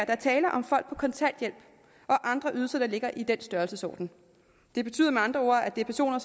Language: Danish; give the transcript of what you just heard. er tale om folk på kontanthjælp og andre ydelser der ligger i den størrelsesorden det betyder med andre ord at det er personer